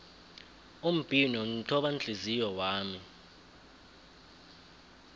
umbhino mthobanhliziyo wami